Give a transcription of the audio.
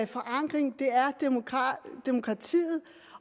forankring det er demokratiet